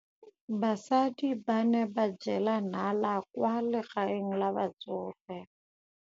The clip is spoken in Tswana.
Basadi ba ne ba jela nala kwaa legaeng la batsofe.